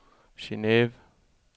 Geneve